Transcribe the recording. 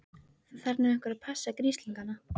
Það þarf nú einhver að passa grislingana.